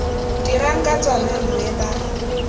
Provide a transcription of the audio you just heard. dirang ka tsona mme ba